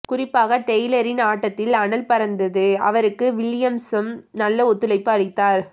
குறிப்பாக டெய்லரின் ஆட்டத்தில் அனல் பறந்தது அவருக்கு வில்லியம்சும் நல்ல ஒத்துழைப்பு அளித்தார்